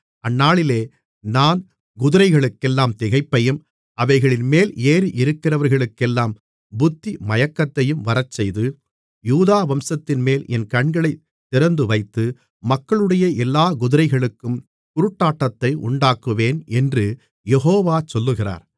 அந்நாளிலே நான் குதிரைகளுக்கெல்லாம் திகைப்பையும் அவைகளின்மேல் ஏறியிருக்கிறவர்களுக்கெல்லாம் புத்திமயக்கத்தையும் வரச்செய்து யூதா வம்சத்தின்மேல் என் கண்களைத் திறந்துவைத்து மக்களுடைய எல்லாக் குதிரைகளுக்கும் குருட்டாட்டத்தை உண்டாக்குவேன் என்று யெகோவா சொல்லுகிறார்